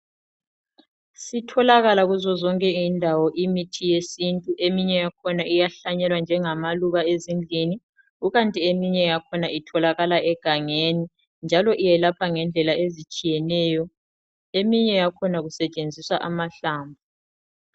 Sitholakala kuzo zonke izindawo imithi yesintu eminye yakhona iyahlanyelwa njengamaluba ezindlini kukanti eminye yakhona itholakala egangeni njalo iyelapha ngendlela ezitshiyeneyo, eminye yakhona kusetshenziswa amahlamvu.